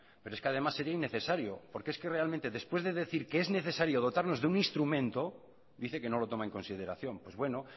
pero es que además sería innecesario porque es que realmente después de decir que es necesario dotarnos de un instrumento dice que no lo toma en consideración pues bueno